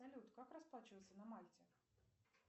салют как расплачиваться на мальте